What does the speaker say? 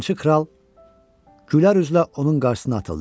Yalançı kral, gülər üzlə onun qarşısına atıldı.